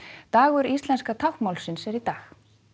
dagur íslenska táknmálsins er í dag